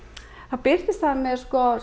birtist með